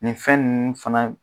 Nin fɛn ninnu fana